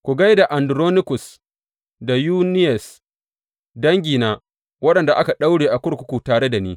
Ku gai da Anduronikus da Yuniyas, dangina waɗanda aka daure a kurkuku tare da ni.